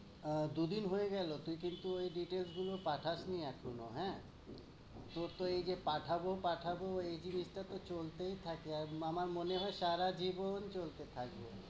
অ্যা দু দিন হয় গেলো তুই কি একটু details গুলো পাঠাছ এখনো হ্যাঁ। তোর তো এই যে পাঠাবো পাঠাবো এই জিনিসটা তো চলতেই থাকে, আর আমার মনে সারাজীবন চলতে থাকবে।